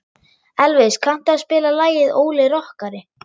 Elvis, kanntu að spila lagið „Óli rokkari“?